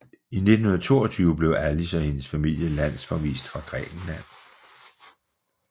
I 1922 blev Alice og hendes familie landsforvist fra Grækenland